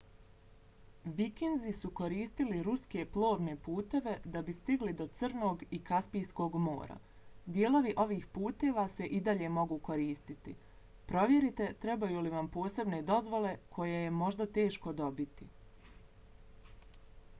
vikinzi su koristili ruske plovne puteve da bi stigli do crnog i kaspijskog mora. dijelovi ovih puteva se i dalje mogu koristiti. provjerite trebaju li vam posebne dozvole koje je možda teško dobiti